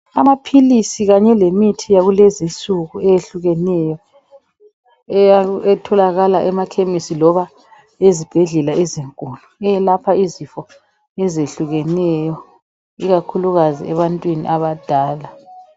Amaphilisi kanye lemithi yakulezinsuku eyehlukeneyo etholakala emakhemisi noma ezibhedlela ezinkulu eyelapha izifo ezehlukeneyo ikakhulukazi ebantwini abadala.